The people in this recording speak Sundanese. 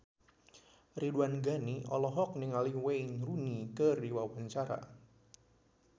Ridwan Ghani olohok ningali Wayne Rooney keur diwawancara